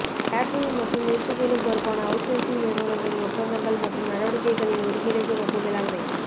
catering மற்றும் நிறுத்துமிடம் பொறுப்பான அவுட்சோர்சிங் நிறுவனங்களின் ஒப்பந்தங்கள் மற்றும் நடவடிக்கைகளின் ஒருங்கிணைப்பு மற்றும் மேலாண்மை